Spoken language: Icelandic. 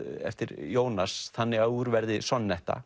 eftir Jónas þannig að úr verði